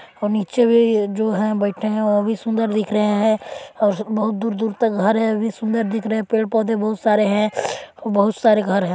और नीचे है जो है बैठे हैं वो भी सुंदर दिख रहे है और बहुत दूर-दूर तक घर है वो भी सुंदर दिख रहे है पेड़ पौधे बहुत सारे हैं और बहुत सारे घर है।